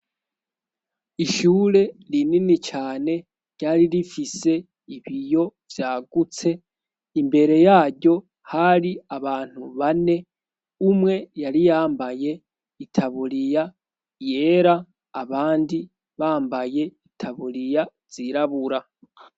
Ishure rinini cane ryari rifise ibiyo vyagutse imbere yaryo hari abantu bane umwe yariyambaye itaburiya yera abandi bambaye itaburiya zirabura.